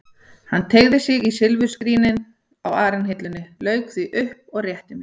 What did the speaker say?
Hann teygði sig í silfurskrín á arinhillunni, lauk því upp og rétti að mér.